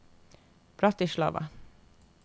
Bratislava